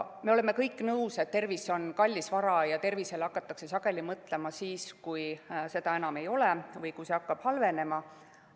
Me oleme kõik nõus, et tervis on kallis vara ja tervisele hakatakse sageli mõtlema siis, kui seda enam ei ole või kui see hakkab halvenema.